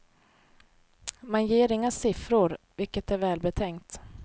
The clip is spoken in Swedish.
Man ger inga siffror, vilket är välbetänkt.